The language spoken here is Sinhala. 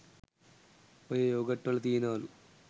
ඔය යෝගට් වල තියනවලු